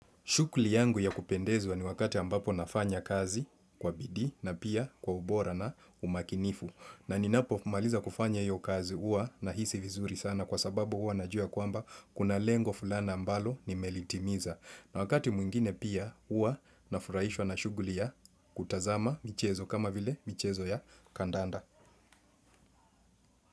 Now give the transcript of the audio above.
Shughuli yangu ya kupendezwa ni wakati ambapo nafanya kazi kwa bidii na pia kwa ubora na umakinifu. Na ninapo maliza kufanya hiyo kazi huwa nahisi vizuri sana kwa sababu huwa najua kwamba kuna lengo fulani ambalo nimelitimiza. Na wakati mwingine pia huwa nafurahishwa na shughuli ya kutazama michezo kama vile michezo ya kandanda.